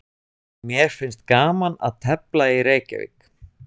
Mér finnst gaman að tefla í Keflavík.